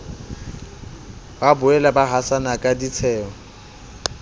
boela ba hasana ka ditsheho